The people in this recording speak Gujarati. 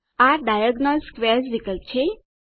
આ ડાયગોનલ સ્ક્વેર્સ વિકલ્પ છે